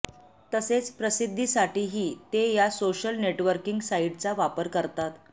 तसेच प्रसिद्धीसाठीही ते या सोशल नेटवर्किंग साईट्सचा वापर करतात